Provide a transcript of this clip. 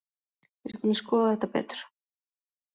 Við skulum skoða þetta betur.